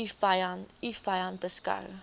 u vyand beskou